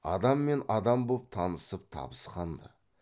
адам мен адам боп танысып табысқан ды